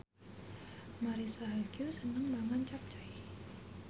Marisa Haque seneng mangan capcay